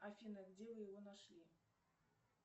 афина где вы его нашли